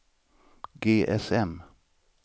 GSM